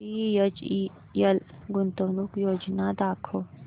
BHEL गुंतवणूक योजना दाखव